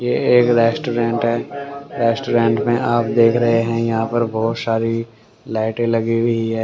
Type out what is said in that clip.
ये एक रेस्टोरेंट हैं रेस्टोरेंट में आप देख रहें है यहाँ पर बहोत सारी लाइटें लगी हुई है।